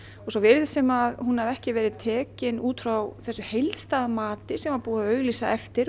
og svo virðist sem hún hafi ekki verið tekin út frá þessu heildstæða mati sem var búið að auglýsa eftir